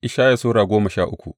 Ishaya Sura goma sha uku